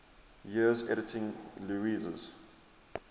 years editing lewes's